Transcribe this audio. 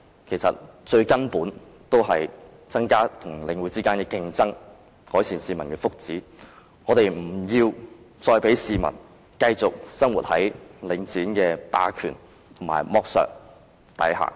其實，最根本的做法是增加與領展的競爭，改善市民的福祉，我們不要再讓市民繼續生活在領展的霸權和剝削下。